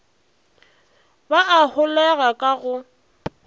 ba a holega ka go